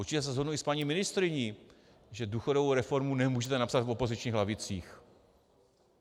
Určitě se shodnu i s paní ministryní, že důchodovou reformu nemůžete napsat v opozičních lavicích.